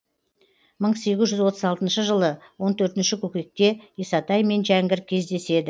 мың сегіз жүз отыз алтыншы жылы он төртінші көкекте исатай мен жәңгір кездеседі